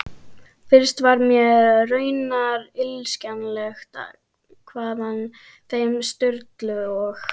Fyrst var mér raunar illskiljanlegt hvaðan þeim Sturlu og